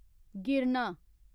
गिरना